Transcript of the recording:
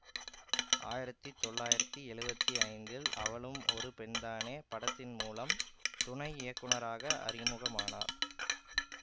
ஆயிரத்தி தொள்ளயிரத்தி எழுபத்தி ஐந்தில் அவளும் ஒரு பெண்தானே படத்தின் மூலம் துணை இயக்குநராக அறிமுகமானார்